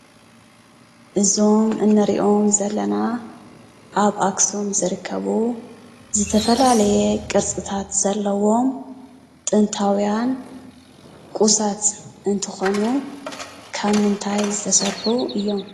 እዞም እንሪኦም ዘለና ኣብ ኣክሱም ዝርከቡ ዝተፈላለየ ቅርፂታት ዘለዎም ጥንታዊያን ቁሳት እንትኾኑ ካብ ምንታይ ዝተሰርሑ እዮም?